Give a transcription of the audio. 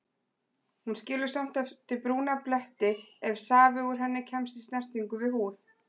Hún skilur samt eftir brúna bletti ef safi úr henni kemst í snertingu við húð.